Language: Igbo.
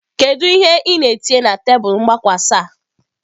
Kedu ihe ị na-etinye na tebụl mgbakwasa?